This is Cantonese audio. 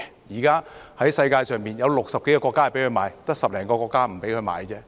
現時世界上有60多個國家准許售賣，只有10多個國家不准售賣。